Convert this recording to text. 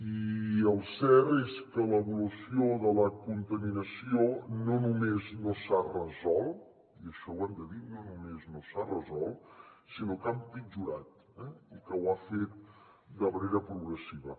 i el cert és que l’evolució de la contaminació no només no s’ha resolt i això ho hem de dir no només no s’ha resolt sinó que ha empitjorat i que ho ha fet de manera progressiva